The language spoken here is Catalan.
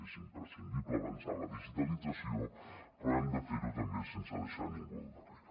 és imprescindible avançar en la digitalització però hem de fer·ho també sense deixar ningú al darrere